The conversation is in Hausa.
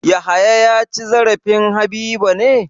Yahaya ya ci zarafin Habiba ne?